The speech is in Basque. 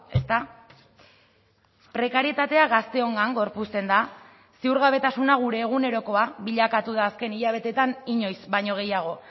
ezta prekarietatea gazteongan gorpuzten da ziurgabetasuna gure egunerokoa bilakatu da azken hilabeteetan inoiz baino gehiago